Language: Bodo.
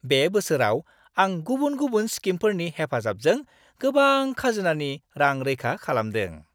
बे बोसोराव आं गुबुन गुबुन स्किमफोरनि हेफाजाबजों गोबां खाजोनानि रां रैखा खालामदों।